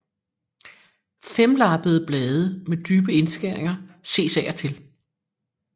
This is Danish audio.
Femlappede blade med dybe indskæringer ses af og til